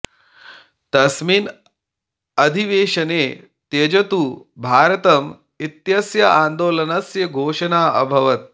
तस्मिन् अधिवेशने त्यजतु भारतम् इत्यस्य आन्दोलनस्य घोषणा अभवत्